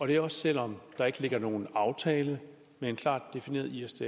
det er og selv om der ikke ligger nogen aftale med en klart defineret isds